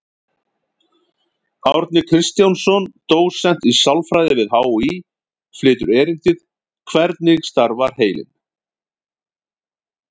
Árni Kristjánsson, dósent í sálfræði við HÍ, flytur erindið: Hvernig starfar heilinn?